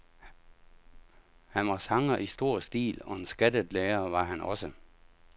Han var sanger i stor stil, og en skattet lærer var han også.